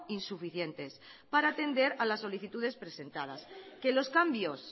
insuficientes para atender a las solicitudes presentadas que los cambios